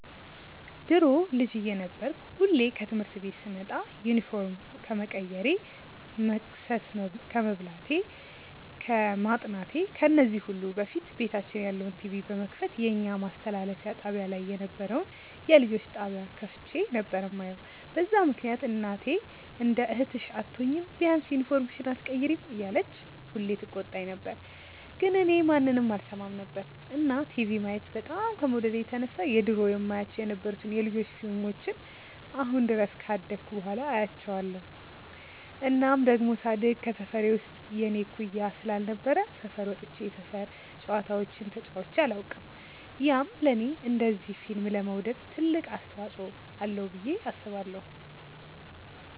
ድሮ ልጅ እየነበርኩ ሁሌ ከትምህርት ቤት ስመጣ ዩኒፎርም ከመቀየሬ፣ መቅሰስ ከመብላቴ፣ ከማጥናቴ ከዚህ ሁሉ በፊት ቤታችን ያለውን ቲቪ በመክፈት የኛ ማስተላለፊያ ጣብያ ላይ የነበረውን የልጆች ጣብያ ከፍቼ ነበር የማየው፤ በዛ ምክንያት እናቴ እንደ እህትሽ አትሆኚም፤ ቢያንስ ዩኒፎርምሽን ኣትቀይሪም እያለች ሁሌ ትቆጣኝ ነበር ግን እኔ ማንንም አልሰማም ነበር። እና ቲቪ ማየት በጣም ከመውደዴ የተነሳ የድሮ የማያቸው የነበሩትን የ ልጆች ፊልሞችን አሁን ድረስ ካደኩ በኋላ አያቸዋለው። እናም ደሞ ሳድግ ከሰፈሬ ውስጥ የኔ እኩያ ስላልነበረ ሰፈር ወጥቼ የሰፈር ጨዋታዎችን ተጫዉቼ ኣላውቅም፤ ያም ለኔ እንደዚ ፊልም ለመውደድ ትልቅ አስተዋፅዎ አለው ብዬ አስባለው።